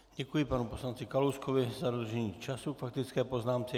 Děkuji panu poslanci Kalouskovi za dodržení času k faktické poznámce.